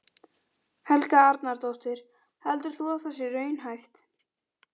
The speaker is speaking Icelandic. Helga Arnardóttir: Heldur þú að það sé raunhæft?